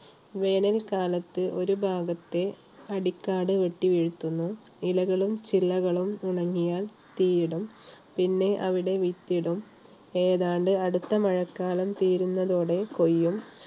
വേനകാലത്ത് ഒരു ഭാഗത്തെ അടിക്കാട് വെട്ടി വീഴ്ത്തുന്നു. ഇലകളും ചില്ലകളും ഉണങ്ങിയാൽ തീയിടും പിന്നെ അവിടെ വിത്തിടും ഏതാണ്ട് അടുത്ത മഴക്കാലം തീരുന്നതോടെ കൊയ്യും.